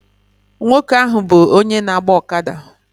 Nwoke ahụ bụ onye na-agba ọkada